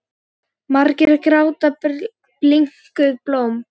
Margir gráta bliknuð blóm.